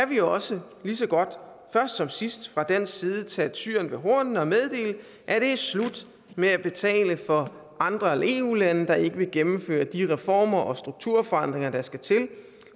vi jo også lige så godt først som sidst fra dansk side tage tyren ved hornene og meddele at det er slut med at betale for andre eu lande der ikke vil gennemføre de reformer og strukturforandringer der skal til